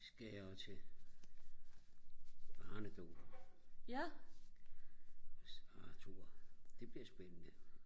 skal jeg til barnedåb hos Arthur det bliver spændende